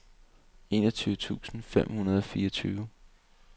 enogtyve tusind fem hundrede og fireogtyve